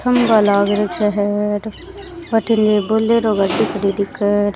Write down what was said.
खम्भा लाग राख्यो है अठ भटीने बुलेरो गाड़ी खड़ीं दिखे है।